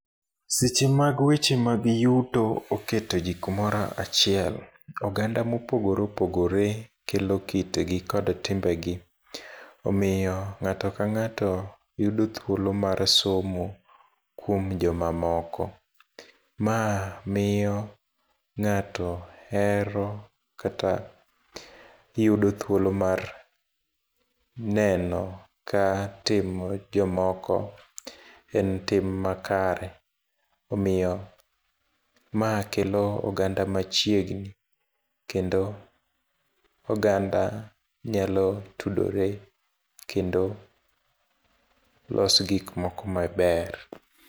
Seche mag weche mag yuto oketo ji kumoro achiel, oganda ma opogore opogore kelo kitgi kod timbegi. Omiyo ngáto ka ngáto yudo thuolo mar somo kuom joma moko. Ma miyo ngáto hero, kata yudo thuolo mar neno ka timo jomoko en tim makare. Omiyo, ma kelo oganda machiegni, kendo oganda nyalo tudore, kendo loso gik moko maber.